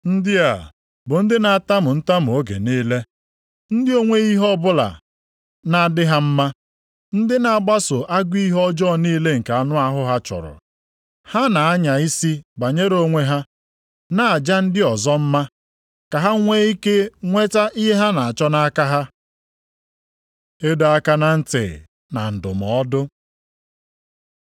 Ndị a bụ ndị na-atamu ntamu oge niile, ndị o nweghị ihe ọbụla na-adị ha mma. Ndị na-agbaso agụ ihe ọjọọ niile nke anụ ahụ ha chọrọ. Ha na-anya isi banyere onwe ha, na-aja ndị ọzọ mma; ka ha nwee ike nweta ihe ha na-achọ nʼaka ha. Ịdọ aka na ntị na ndụmọdụ